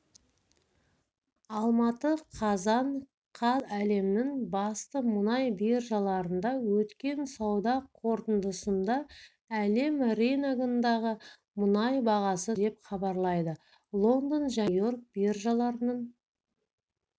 алматы қазан қаз әлемнің басты мұнай биржаларында өткен сауда қортындысында әлем рыногындағы мұнай бағасы түсті деп хабарлайды лондон және нью-йорк биржаларының